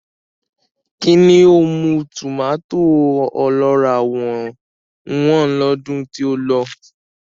Kíni ó mú tòmàtó ọlọ́ràá wọ́n lọ́dún tí ó lọ?